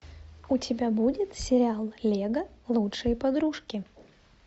у тебя будет сериал лего лучшие подружки